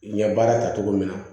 N ye baara ta cogo min na